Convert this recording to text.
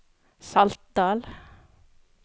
Saltdal